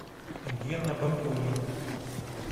гена бакулин